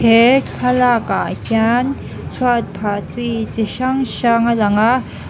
hee thlalakah hian chhuat phah chi chi hrang hrang a lang a.